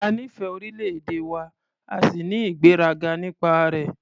A nífẹ̀ẹ́ orílẹ̀-èdè wa a sì ní ìgbéraga nípa rẹ̀.